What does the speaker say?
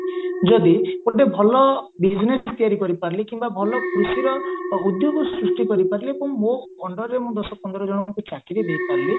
ଯଦି ଗୋଟେ ଭଲ business ତିଆରି କରିପାରିଲି କିମ୍ବା ଭଲ କୃଷିର ଉଦ୍ୟୋଗକୁ ସୃଷ୍ଟି କରିପାରିଲି ଏବଂ ମୋ underରେ ମୁଁ ଦଶ ପନ୍ଦର ଜଣଙ୍କୁ ଚାକିରୀ ଦେଇପାରିଲି